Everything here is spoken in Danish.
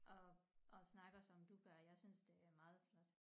Og og snakker som du gør jeg synes det er meget flot